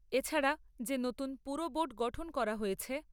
এছাড়া যে নতুন পুরবোর্ড গঠন করা হয়েছে,